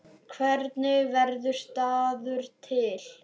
Hvernig verður staður til?